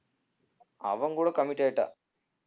அவன் கூட commit ஆயிட்டா